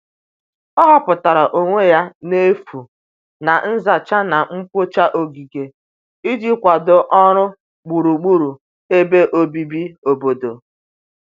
ọ huputara onwe ya n'efu na nzacha na mgbocha ogige iji kwado ọrụ gburugburu ebe obibi obodo